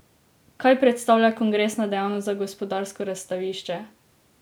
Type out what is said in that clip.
Kaj predstavlja kongresna dejavnost za Gospodarsko razstavišče?